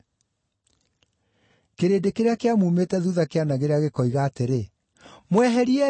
Kĩrĩndĩ kĩrĩa kĩamuumĩte thuutha kĩanagĩrĩra gĩkoiga atĩrĩ, “Mweheriei!”